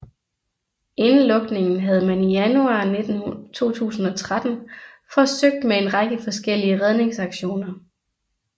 Inden lukningen havde man i januar 2013 forsøgt med en række forskellige redningsaktioner